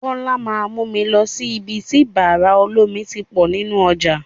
Bọ́lá máa mú mi lọ sí ibi tí bàrà lómi ti pọ̀ nínú ọjà.